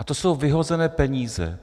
A to jsou vyhozené peníze.